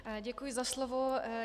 Děkuji za slovo.